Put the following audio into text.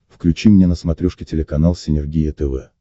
включи мне на смотрешке телеканал синергия тв